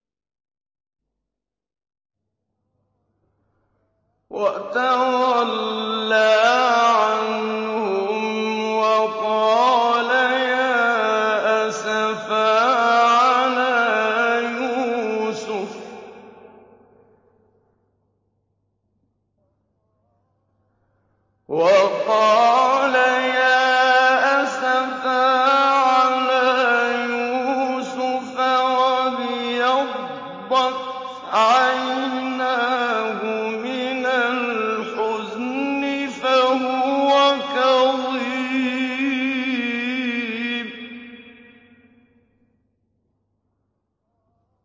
وَتَوَلَّىٰ عَنْهُمْ وَقَالَ يَا أَسَفَىٰ عَلَىٰ يُوسُفَ وَابْيَضَّتْ عَيْنَاهُ مِنَ الْحُزْنِ فَهُوَ كَظِيمٌ